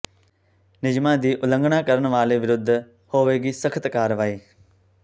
ਨਿਯਮਾਂ ਦੀ ਉਲੰਘਣਾ ਕਰਨ ਵਾਲੇ ਵਿਰੁੱਧ ਹੋਵੇਗੀ ਸਖਤ ਕਾਰਵਾਈ